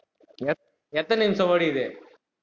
எத்~ எத்தன நிமிஷம் ஓடிருக்குது